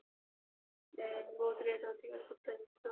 ହୁଁ ବହୁତ ରେଟ ହଉଥିବ ସୂତା ଜିନିଷ